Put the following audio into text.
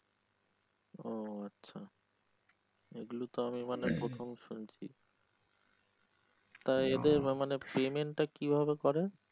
ও আচ্ছা এগুলো তো আমি প্রথম শুনিছি তা এদের না মানে payment টা কিভাবে করে?